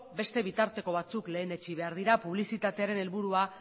beste bitarteko batzuk lehenetsi behar dira publizitatearen helburua